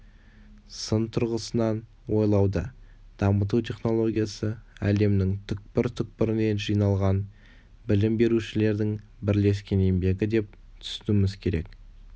сын тұрғысынан ойлауды дамыту технологиясы әлемнің түкпір түкпірінен жиналған білім берушілердің бірлескен еңбегі деп түсінуіміз керек